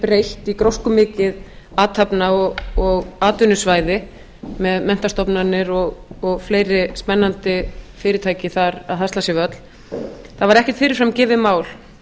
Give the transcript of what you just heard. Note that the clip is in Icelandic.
breytt í gróskumikið athafna og atvinnusvæði með menntastofnanir og fleiri spennandi fyrirtæki þar að hasla sér völl það var ekkert fyrirfram gefið mál